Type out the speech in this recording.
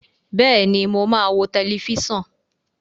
Bẹ́ẹ̀ni, mo máa wo tẹlifíṣàn.